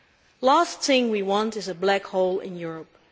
The last thing we want is a black hole in Europe.